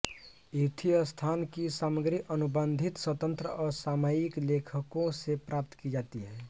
यूथिस्तान की सामग्री अनुबंधित स्वतंत्र और सामयिक लेखकों से प्राप्त की जाती है